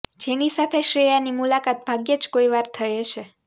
જેની સાથે શ્રેયાની મુલાકાત ભાગ્યે જ કોઇવાર થઇ હશે